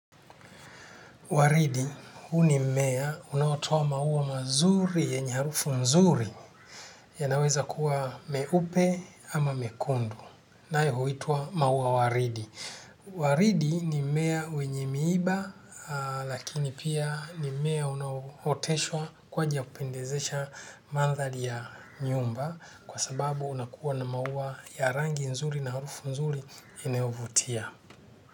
Waridi, huu ni mmea unaotoa maua mazuri yenye harufu nzuri yanaweza kuwa meupe ama mekundu. Nae huitwa maua waridi. Waridi ni mmea wenye miiba lakini pia ni mmea unaoteshwa kwa njia kupendezesha mandhari ya nyumba kwa sababu unakuwa na maua ya rangi nzuri na harufu nzuri inayovutia.